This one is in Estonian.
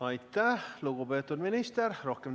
Aitäh, lugupeetud minister!